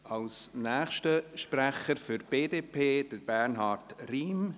Als nächster Sprecher für die BDP hat Bernhard Riem das Wort.